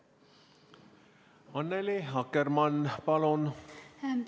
Annely Akkermann, palun!